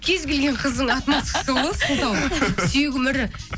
кез келген қыздың отмазкасы ғой сылтау сүйегім ірі